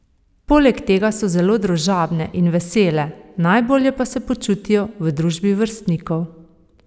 Poleg tega so zelo družabne in vesele, najbolje pa se počutijo v družbi vrstnikov.